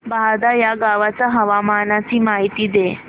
बहादा या गावाच्या हवामानाची माहिती दे